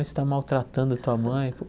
Você está maltratando a tua mãe.